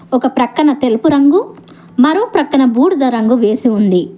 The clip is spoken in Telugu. ఒక ప్రక్కన తెలుపు రంగు మరో ప్రక్కన బూడిద రంగు వేసి ఉంది.